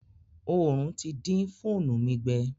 Òòrùn ti dín fóònù mi gbẹ.